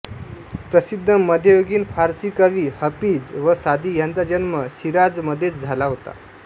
प्रसिद्ध मध्ययुगीन फारसी कवी हफीझ व सादी ह्यांचा जन्म शिराझमध्येच झाला होता